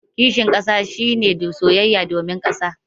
Kishin kasa shi ne soyayya domin kasar.